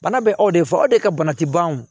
Bana bɛ aw de fɔ aw de ka bana ti ban o